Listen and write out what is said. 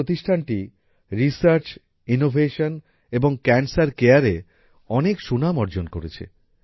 এই প্রতিষ্ঠানটি research innovation এবং ক্যান্সার কেয়ারএ অনেক সুনাম অর্জন করেছে